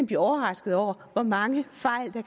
blive overrasket over hvor mange fejl der